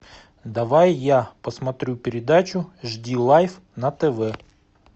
давай я посмотрю передачу жди лайф на тв